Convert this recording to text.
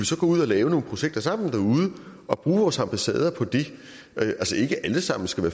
så gå ud og lave nogle projekter sammen derude og bruge vores ambassader på det altså ikke at alle sammen skulle